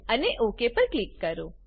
અને ઓક પર ક્લિક કરો